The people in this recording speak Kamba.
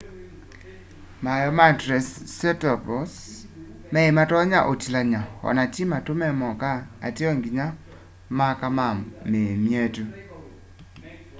maeo ma triceratops mei matonya utilany'a o na ti matu me moka ateo nginya maka na mii myetu